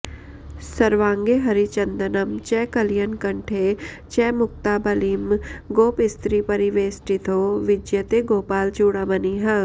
सर्वाङ्गे हरिचन्दनं च कलयन् कण्ठे च मुक्तावलिं गोपस्त्रीपरिवेष्टितो विजयते गोपालचूडामणिः